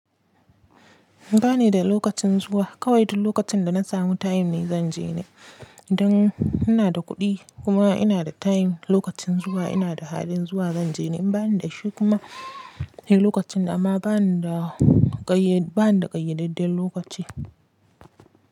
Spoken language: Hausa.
Ba ni da lokacin zuwa, kawai duk lokacin da na samu time ne zanje ne, idan ina da kuɗi kuma ina da time lokacin zuwa ina da halin zuwa zanje. In bani da shi kuma sai lokacin amma bani da ƙayyadadden lokaci.